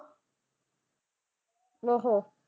ਨਾ ਆਹ।